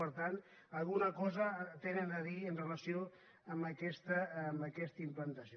per tant alguna cosa tenen a dir en relació amb aquesta implantació